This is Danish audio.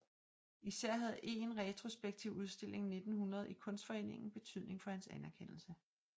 Især havde en retrospektiv udstilling 1900 i Kunstforeningen betydning for hans anerkendelse